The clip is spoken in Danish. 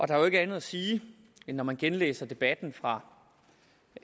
der er jo ikke andet at sige når man genlæser debatten fra